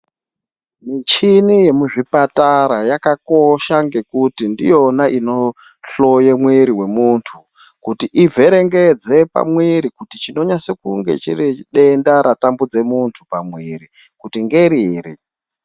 Michini yemuzvipatara yakakosha ngekuti ndiyona inohloya mwiri wemuntu kuti ivherengedze pamwiri kuti chinonyatsa kunge chiri denda ratambudza muntu pamwiri ngeriri.